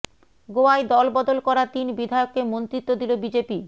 গোয়ায় দল বদল করা তিন বিধায়ককে মন্ত্রিত্ব দিল বিজেপি